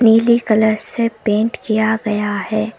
नीली कलर से पेंट किया गया है।